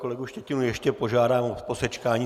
Kolegu Štětinu ještě požádám o posečkání.